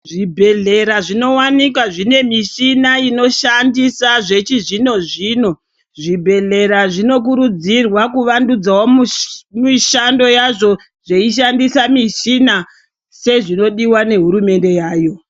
Zvibhedhlera zvinovanika zvine michina inoshandisa zvechizvino-zvino. Zvibhedhlera zvinokurudzirwa vandudzavo mishando yazvo zveishandisa mishina sezvinodiva nehurumende yavo.